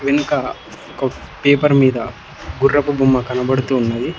వెనుక క పేపర్ మీద గుర్రపు బొమ్మ కనబడుతూ ఉన్నది.